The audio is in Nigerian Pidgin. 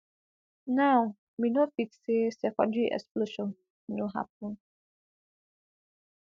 now we no fit say secondary explosion no happun